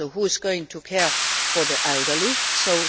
Who is going to care for the elderly, too?